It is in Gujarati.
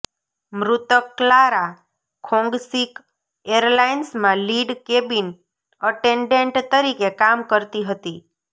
મૃતક ક્લારા ખોંગશીક એરલાઇન્સમાં લીડ કેબિન અટેન્ડેન્ટ તરીકે કામ કરતી હતી